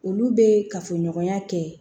Olu bɛ kafoɲɔgɔnya kɛ